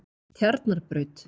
Tjarnarbraut